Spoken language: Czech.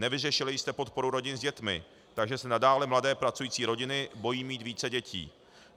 Nevyřešili jste podporu rodin s dětmi, takže se nadále mladé pracující rodiny bojí mít více dětí.